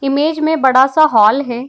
Image में बड़ा सा हॉल है।